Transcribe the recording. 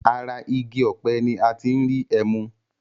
Ara igi ọpẹ ni a ti ń rí ẹmu